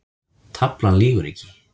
Taflan lýgur ekki